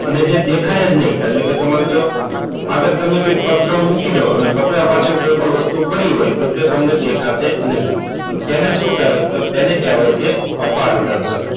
અને જે દેખાય જ નહીં એટલે કે તમે જુઓ આગળ તમને કંઈક પાત્ર મૂકી દઉં અને પાત્ર પાછળ કોઈપણ વસ્તુ પડી હોય કે તમને દેખાશે નહીં તો તેને શું કહેવાય તો તેને કહેવાય અપારદર્શક.